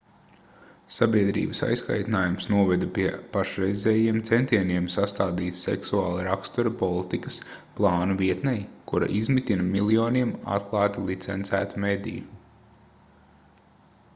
sabiedrības aizkaitinājums noveda pie pašreizējiem centieniem sastādīt seksuāla rakstura politikas plānu vietnei kura izmitina miljoniem atklāti licencētu mediju